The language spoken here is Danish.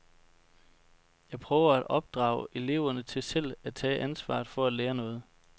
Jeg prøver, at opdrage eleverne til selv at tage ansvaret for at lære noget.